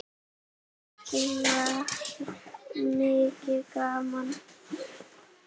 Oft var mikið gaman.